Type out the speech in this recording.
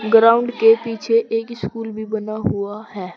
Ground के पीछे एक स्कूल भी बना हुआ है।